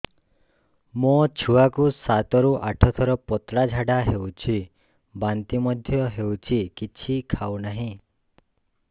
ମୋ ଛୁଆ କୁ ସାତ ରୁ ଆଠ ଥର ପତଳା ଝାଡା ହେଉଛି ବାନ୍ତି ମଧ୍ୟ୍ୟ ହେଉଛି କିଛି ଖାଉ ନାହିଁ